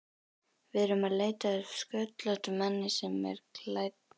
Við erum að leita að sköllóttum manni sem er klædd